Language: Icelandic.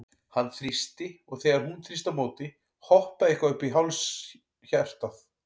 Hann þrýsti, og þegar hún þrýsti á móti, hoppaði eitthvað upp í háls hjartað?